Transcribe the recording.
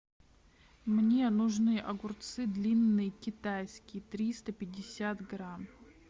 мне нужны огурцы длинные китайские триста пятьдесят грамм